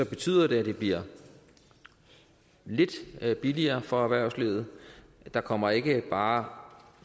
betyder det at det bliver lidt billigere for erhvervslivet der kommer ikke bare